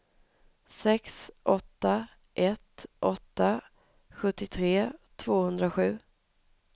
sex åtta ett åtta sjuttiotre tvåhundrasju